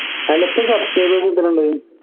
അയിലിപ്പോ subscribers എത്രണ്ട്